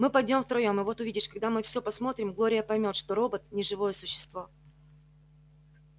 мы пойдём втроём и вот увидишь когда мы всё посмотрим глория поймёт что робот не живое существо